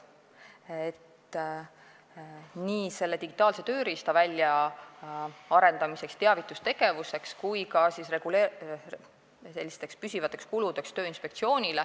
Kulutusi tehakse digitaalse tööriista väljaarendamiseks ja teavitustegevuseks ning ka Tööinspektsioonil on püsivad kulud.